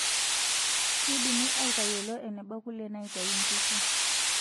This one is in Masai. Keidimi atayiolo eneba kule naitayu nkishu.